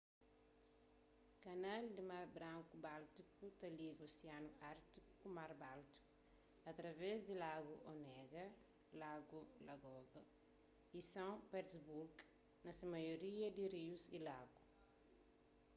kanal di mar branku-báltiku ta liga osianu ártiku ku mar báltiku através di lagu onega lagu ladoga y são petersburgo na se maioria pa rius y lagus